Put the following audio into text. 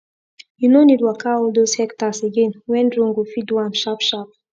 you no need waka all those hectares again when drone go fit do am sharp sharp